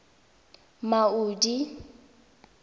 maudi